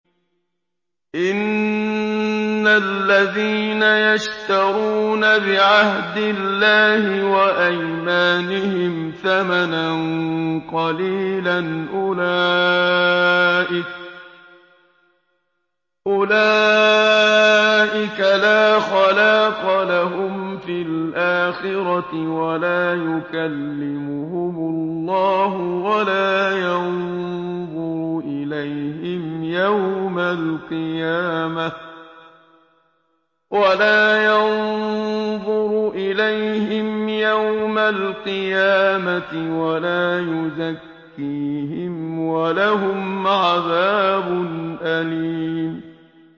إِنَّ الَّذِينَ يَشْتَرُونَ بِعَهْدِ اللَّهِ وَأَيْمَانِهِمْ ثَمَنًا قَلِيلًا أُولَٰئِكَ لَا خَلَاقَ لَهُمْ فِي الْآخِرَةِ وَلَا يُكَلِّمُهُمُ اللَّهُ وَلَا يَنظُرُ إِلَيْهِمْ يَوْمَ الْقِيَامَةِ وَلَا يُزَكِّيهِمْ وَلَهُمْ عَذَابٌ أَلِيمٌ